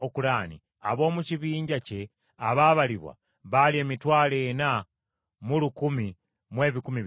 Ab’omu kibinja kye abaabalibwa baali emitwalo ena mu lukumi mu ebikumi bitaano (41,500).